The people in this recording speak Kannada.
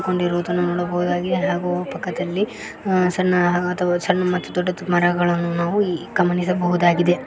ಕೊಂಡಿರುದನ್ನು ನೋಡಬಹುದಾಗಿದೆ ಹಾಗು ಪಕ್ಕದಲ್ಲಿ ಅ ಸಣ್ಣ ಅಥವಾ ಸಣ್ಣ ಮತ್ತ ದೊಡ್ಡ ಮರಗಳನ್ನು ನಾವು ಈ ಗಮನಿಸಬಹುದಾಗಿದೆ.